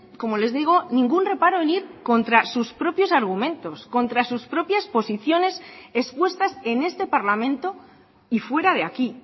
como les digo ningún reparo en ir contra sus propios argumentos contra sus propias posiciones expuestas en este parlamento y fuera de aquí